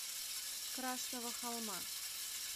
красного холма